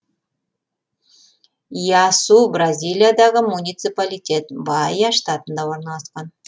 иасу бразилиядағы муниципалитет баия штатында орналасқан